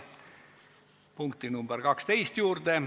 Läheme 12. punkti juurde.